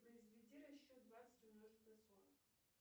произведи расчет двадцать умножить на сорок